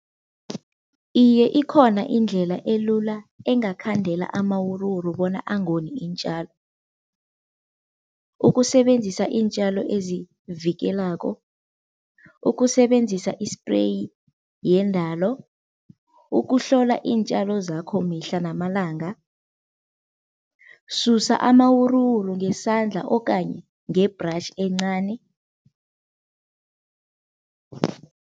Iye ikhona indlela elula engakhandela amawuruwuru bona angoni iintjalo. Ukusebenzisa iintjalo ezivikelako, ukusebenzisa ispreyi yendalo, ukuhlola iintjalo zakho mihla namalanga, susa amawuruwuru ngesandla okanye nge-brush encani.